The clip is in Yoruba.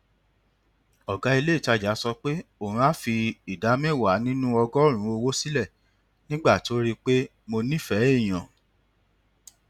ọgá ilé ìtajà sọ pé òun á fi ìdá mẹwàá nínú ọgọrùnún owó sílẹ nígbà tó rí pé mo nífẹẹ èèyàn